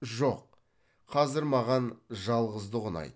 жоқ қазір маған жалғыздық ұнайды